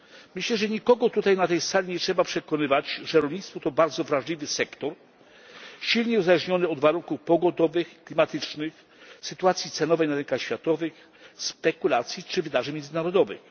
Myślę, że nikogo na tej sali nie trzeba przekonywać, że rolnictwo to bardzo wrażliwy sektor, silnie uzależniony od warunków pogodowych, klimatycznych, sytuacji cenowej na rynkach światowych, spekulacji czy wydarzeń międzynarodowych.